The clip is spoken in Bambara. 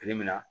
Kile min na